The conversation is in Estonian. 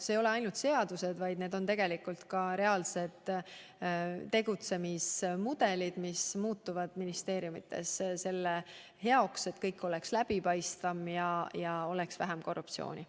Need ei ole puudutanud mitte ainult seadusi, vaid tegelikult ka reaalseid tegutsemismudelid, mida ministeeriumides muudetakse, et kõik oleks läbipaistvam ja oleks vähem korruptsiooni.